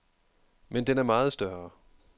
Men den er meget større.